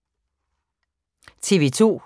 TV 2